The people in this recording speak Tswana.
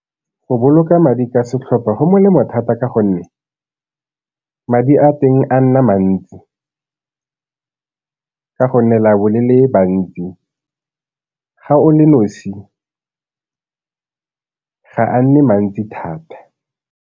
Go boloka madi ka setlhopha go molemo thata ka gonne madi a teng a nna mantsi ka gonne le a bo le le bantsi, ga o le nosi ga a nne mantsi thata.